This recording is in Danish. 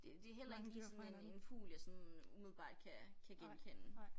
Det det heller ikke lige sådan en en fugl jeg sådan umiddelbart kan kan genkende